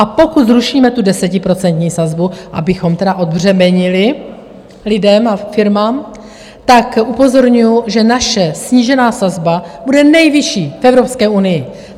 A pokud zrušíme tu desetiprocentní sazbu, abychom tedy odbřemenili lidem a firmám, tak upozorňuji, že naše snížená sazba bude nejvyšší v Evropské unii.